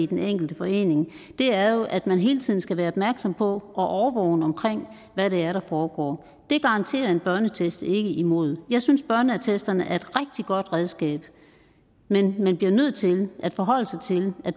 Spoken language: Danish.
den enkelte forening er jo at man hele tiden skal være opmærksom på og årvågen omkring hvad det er der foregår det garanterer en børneattest ikke imod jeg synes børneattesterne er et rigtig godt redskab men man bliver nødt til at forholde sig til at